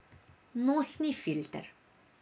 Nosni filter.